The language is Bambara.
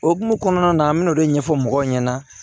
O hukumu kɔnɔna na an bɛ n'o de ɲɛfɔ mɔgɔw ɲɛna